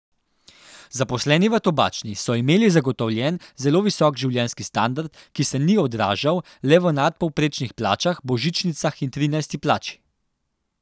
Zaposleni v Tobačni so imeli zagotovljen zelo visok življenjski standard, ki se ni odražal le v nadpovprečnih plačah, božičnicah in trinajsti plači.